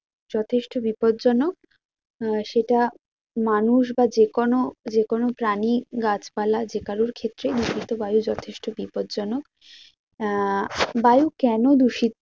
যথেষ্ট বিপদজনক আহ সেটা মানুষ বা যেকোন, যেকোনো প্রানী গাছপালা যে কারোর ক্ষেত্রে দূষিত বায়ু যথেষ্ট বিপদজনক তা বায়ু কেন